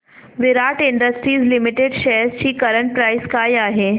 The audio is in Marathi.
विराट इंडस्ट्रीज लिमिटेड शेअर्स ची करंट प्राइस काय आहे